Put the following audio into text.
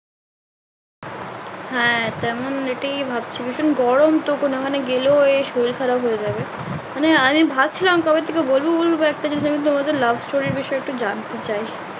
হ্যাঁ তেমন late এই ভাবছি ভীষণ গরম তো না মানে গেলে শরীর খারাপ হয়ে যাবে মানে আমি ভাবছিলাম কবে থেকে বলবো বলবো একটা জিনিস তোমাদের love story বিষয়ে একটু জানতে চাই